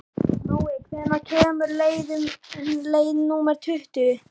Nói, hvenær kemur leið númer tuttugu?